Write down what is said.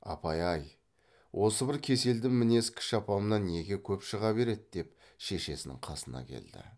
апай ай осы бір кеселді мінез кіші апамнан неге көп шыға береді деп шешесінің қасына келді